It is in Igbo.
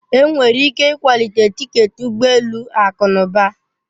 Enwere ike ịkwalite tiketi ụgbọ elu akụ na ụba.